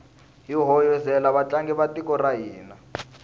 hi hoyozela vatlangi va tiko ra hina